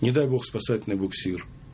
не дай бог спасательный буксир